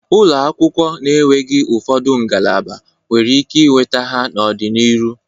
Ụlọakwụ na-enweghi ụfọdụ ngalaba nwere ike inweta ha n'ọdị n'iru.